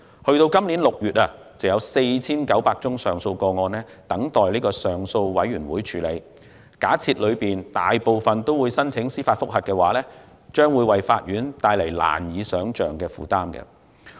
截至今年6月，約有 4,900 宗上訴個案等待上訴委員會處理，假設當中大部分人均會申請司法覆核，便會為法院帶來難以想象的負擔。